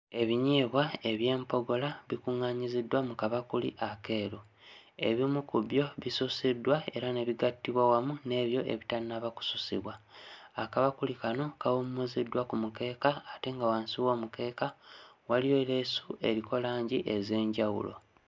Ebinyeebwa eby'empogola kikuŋŋaanyiziddwa mu kabakuli akeeru. Ebimu ku byo bisusiddwa era ne bigattibwa wamu n'ebyo ebitannaba kususibwa. Akabakuli kano kawummuziddwa ku mukeeka ate nga wansi w'omukeeka waliyo leesu eriko langi ez'enjawulo.